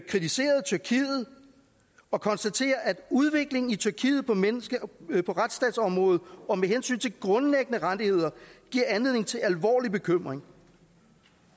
kritiserede tyrkiet og konstaterede at udviklingen i tyrkiet på retsstatsområdet og med hensyn til grundlæggende rettigheder giver anledning til alvorlig bekymring